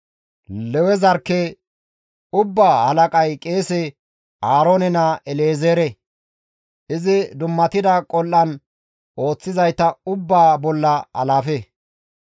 Lewe zarkke ubbaa halaqay qeese Aaroone naa El7ezeere; izi dummatida qol7an ooththizayta ubbaa bolla alaafe.